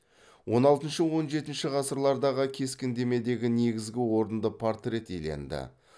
он алтыншы он жетінші ғасырлардағы кескіндемедегі негізгі орынды портрет иеленді